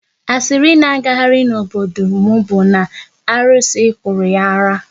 Asịrị na agagharị n'obodo m bụ na arụsị kụrụ ya ara